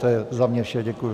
To je za mě vše, děkuji.